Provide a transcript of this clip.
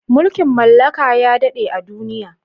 Mulkin mallaka ya daɗe a duniya.